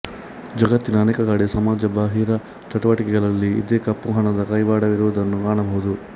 ಜಗತ್ತಿನ ಅನೇಕ ಕಡೆ ಸಮಾಜ ಬಾಹಿರ ಚಟುವಟಿಕೆಗಳಲ್ಲಿ ಇದೇ ಕಪ್ಪುಹಣದ ಕೈವಾಡವಿರುವದನ್ನು ಕಾಣಬಹುದು